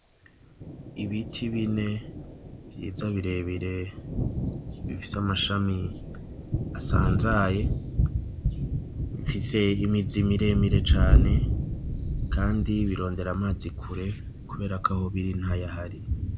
Ibiti bine vyiza, birebire, bifise amashami asanzaye, bifise imizi miremire cane, kandi birondera amazi kure kubera ko aho biri ntayahari.